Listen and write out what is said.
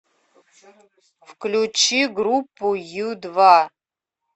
включи группу ю два